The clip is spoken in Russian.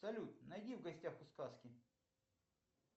салют найди в гостях у сказки